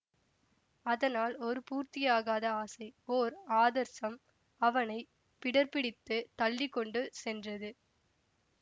அதனால் ஒரு பூர்த்தியாகாத ஆசை ஓர் ஆதர்சம் அவனை பிடர்பிடித்துத் தள்ளி கொண்டு சென்றது